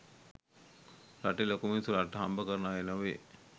රටේ ලොකු මිනිස්‌සු රටට හම්බ කරන අය නොවෙයි.